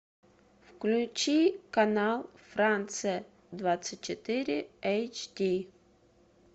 включи канал франция двадцать четыре эйч ди